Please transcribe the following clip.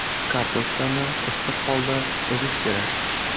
Kartoshkani issiq holida ezish kerak.